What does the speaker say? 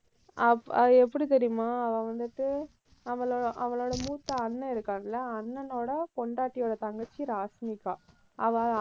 அஹ் அது எப்படி தெரியுமா? அவன் வந்துட்டு அவளோ~ அவளோட மூத்த அண்ணன் இருக்கான்ல அண்ணனோட பொண்டாட்டியோட தங்கச்சி ராஷ்மிகா. அவ